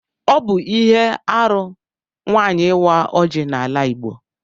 Ọ bụ ihe arụ nwaanyị ịwa ọjị n'ala Igbo